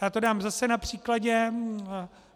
Já to dám zase na příkladu.